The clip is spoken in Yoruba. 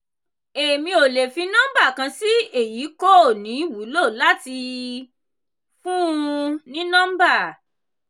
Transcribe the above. èmi ò le fi nọ́mbà kan sí èyí kò ní wúlò láti fún-un ní nọ́mbà.